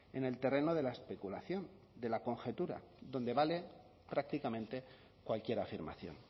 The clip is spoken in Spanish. en el terreno de la especulación de la conjetura donde vale prácticamente cualquier afirmación